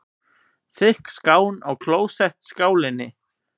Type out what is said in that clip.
Þykk skán í klósettskálinni.